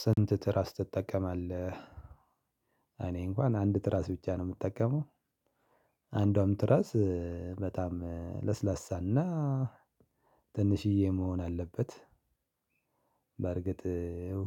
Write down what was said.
ስንት ትራስ ትጠቀማለህ? እኔ እንኳን አንድ ትራስ ብቻ ነው የምጠቀመው። አንዷም ትራስ በጣም ለስላሳና ትንሽዬ መሆን አለበት። በእርግጥ